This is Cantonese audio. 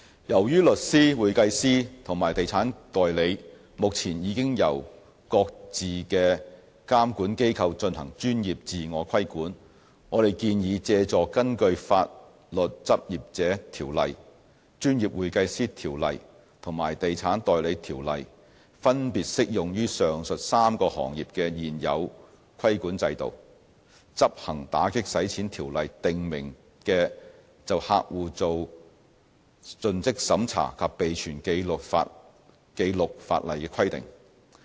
由於律師、會計師和地產代理目前已經由各自的監管機構進行專業自我規管，我們建議借助根據《法律執業者條例》、《專業會計師條例》和《地產代理條例》分別適用於上述3個行業的現有規管制度，執行《條例》訂明就客戶作盡職審查及備存紀錄的法例規定。